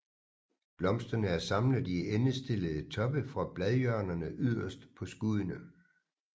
Blomsterne er samlet i endestillede toppe fra bladhjørnerne yderst på skuddene